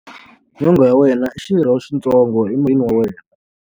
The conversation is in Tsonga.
Nyonghwa ya wena i xirho xitsongo emirini wa wena.